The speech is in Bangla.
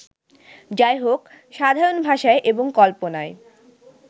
যাইহোক, সাধারণ ভাষায় এবং কল্পনায়